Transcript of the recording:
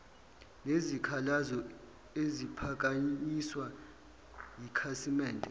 nezikhalazo eziphakanyiswa yikhasimende